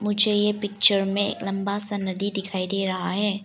मुझे ये पिक्चर में एक लंबा सा नदी दिखाई दे रहा है।